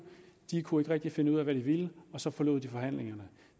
kunne ikke rigtig finde ud af hvad de ville og så forlod de forhandlingerne